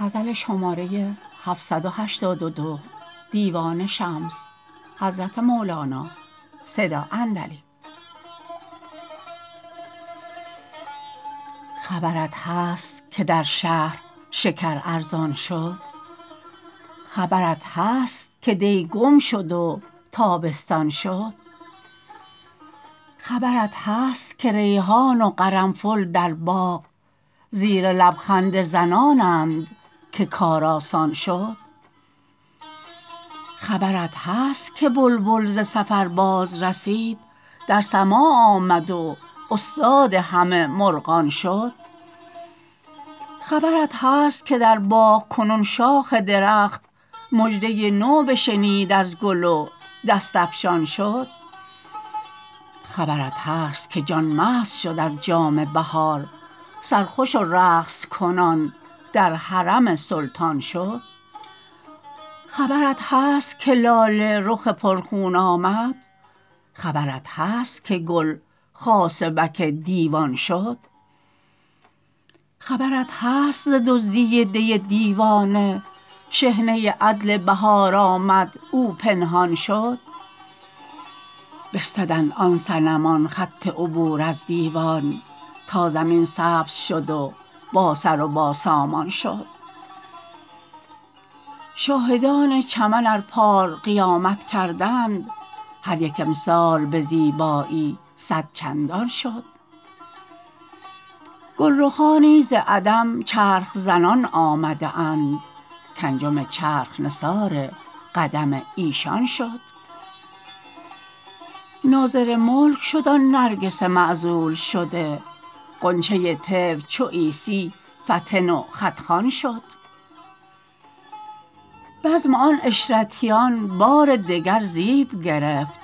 خبرت هست که در شهر شکر ارزان شد خبرت هست که دی گم شد و تابستان شد خبرت هست که ریحان و قرنفل در باغ زیر لب خنده زنانند که کار آسان شد خبرت هست که بلبل ز سفر بازرسید در سماع آمد و استاد همه مرغان شد خبرت هست که در باغ کنون شاخ درخت مژده نو بشنید از گل و دست افشان شد خبرت هست که جان مست شد از جام بهار سرخوش و رقص کنان در حرم سلطان شد خبرت هست که لاله رخ پرخون آمد خبرت هست که گل خاصبک دیوان شد خبرت هست ز دزدی دی دیوانه شحنه عدل بهار آمد و او پنهان شد بستدند آن صنمان خط عبور از دیوان تا زمین سبز شد و باسر و باسامان شد شاهدان چمن ار پار قیامت کردند هر یک امسال به زیبایی صد چندان شد گلرخانی ز عدم چرخ زنان آمده اند کانجم چرخ نثار قدم ایشان شد ناظر ملک شد آن نرگس معزول شده غنچه طفل چو عیسی فطن و خط خوان شد بزم آن عشرتیان بار دگر زیب گرفت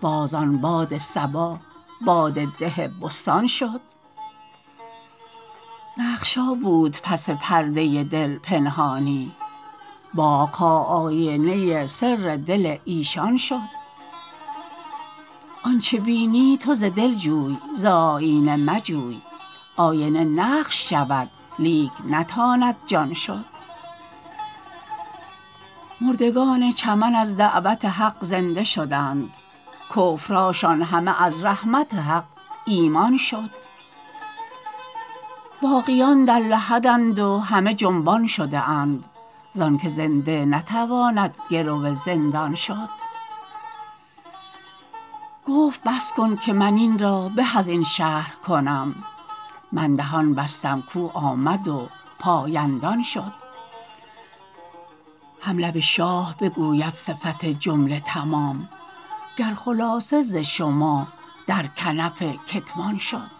باز آن باد صبا باده ده بستان شد نقش ها بود پس پرده دل پنهانی باغ ها آینه سر دل ایشان شد آنچ بینی تو ز دل جوی ز آیینه مجوی آینه نقش شود لیک نتاند جان شد مردگان چمن از دعوت حق زنده شدند کفرهاشان همه از رحمت حق ایمان شد باقیان در لحدند و همه جنبان شده اند زانک زنده نتواند گرو زندان شد گفت بس کن که من این را به از این شرح کنم من دهان بستم کو آمد و پایندان شد هم لب شاه بگوید صفت جمله تمام گر خلاصه ز شما در کنف کتمان شد